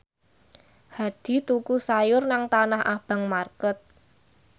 Hadi tuku sayur nang Tanah Abang market